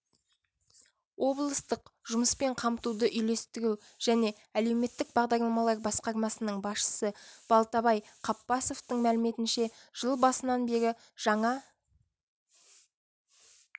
облыстық жұмыспен қамтуды үйлестіру және әлеуметтік бағдарламалар басқармасының басшысы балтабай қаппасовтың мәліметінше жыл басынан бері жаңа